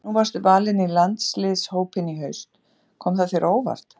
Nú varstu valinn í landsliðshópinn í haust, kom það þér á óvart?